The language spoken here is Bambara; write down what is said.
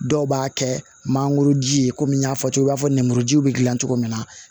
Dɔw b'a kɛ mangoro ji ye komi n y'a fɔ cogo min i b'a fɔ nemurujiw bɛ dilan cogo min na